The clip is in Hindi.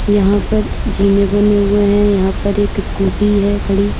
यहां पर जीने बने हुए हैं यहां पर एक स्कूटी है खड़ी--